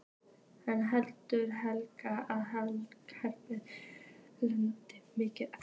En heldur Helga að Heba eigi mikið eftir?